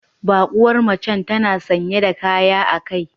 Bakuwar macen tana sanye da kaya a kai